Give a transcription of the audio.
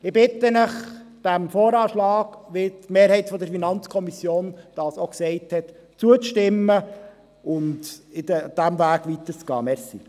Ich bitte Sie, dem VA zuzustimmen, so wie es auch die Mehrheit der FiKo entschieden hat, und diesen Weg weiterzuverfolgen.